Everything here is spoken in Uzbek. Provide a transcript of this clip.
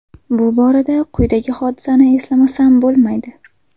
Bu borada quyidagi hodisani eslamasam bo‘lmaydi.